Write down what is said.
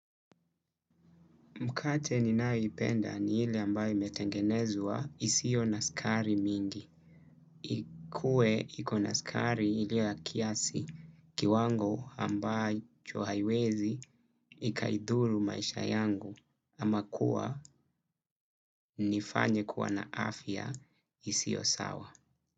Mkate ninayoipenda ni ile ambayo imetengenezwa isio na sukari mingi. Ikue iko na sukari ile ya kiasi kiwango ambacho haiwezi ikaidhuru maisha yangu ama kuwa nifanye kuwa na afya isio sawa.